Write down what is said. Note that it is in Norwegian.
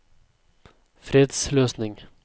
fredsløsning